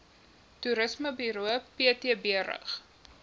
toerismeburo ptb rig